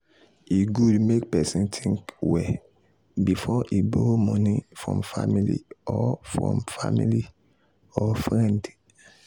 e good make person think well before e borrow money from family or from family or friend.